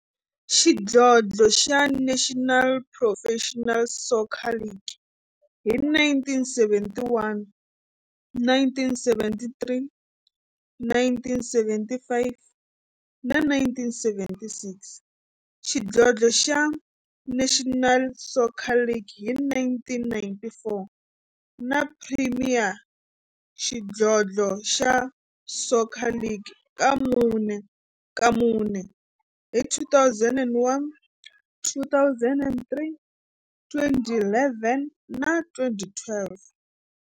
xidlodlo xa National Professional Soccer League hi 1971, 1973, 1975 na 1976, xidlodlo xa National Soccer League hi 1994, na Premier Xidlodlo xa Soccer League ka mune, hi 2001, 2003, 2011 na 2012.